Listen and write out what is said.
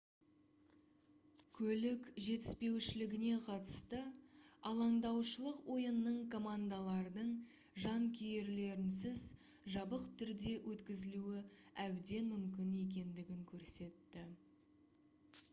көлік жетіспеушілігіне қатысты алаңдаушылық ойынның командалардың жанкүйерлерінсіз жабық түрде өткізілуі әбден мүмкін екендігін көрсетті